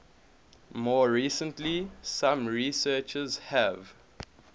more recently some researchers have